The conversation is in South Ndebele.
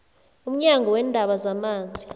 umnyango weendaba zamanzi